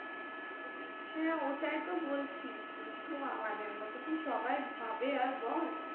হ্যাঁ ওটাই তো বলছি, কিন্তু আমাদের মত কি সবাই ভাবে আর বল?